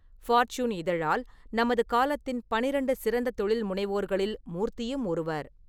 Fortune இதழால் நமது காலத்தின் பன்னிரெண்டு சிறந்த தொழில்முனைவோர்களில் மூர்த்தியும் ஒருவர்.